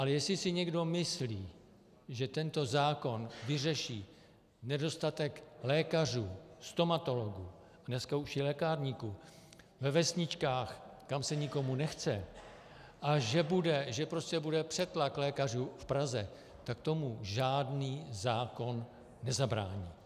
Ale jestli si někdo myslí, že tento zákon vyřeší nedostatek lékařů, stomatologů, dneska už i lékárníků ve vesničkách, kam se nikomu nechce, a že bude přetlak lékařů v Praze, tak tomu žádný zákon nezabrání.